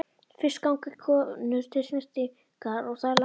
Fyrst ganga konur til snyrtingar og það er langur gangur.